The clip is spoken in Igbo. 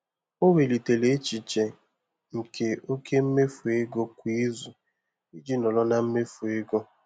Ọ welitere echiche nke oke mmefu ego kwa izu iji nọrọ na mmefu ego.